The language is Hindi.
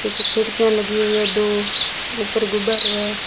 पीछे खिड़कियां लगी हुई है दो ऊपर गुंबद है।